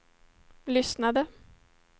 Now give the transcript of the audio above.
lyssnade